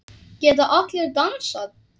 Geta allir dansað?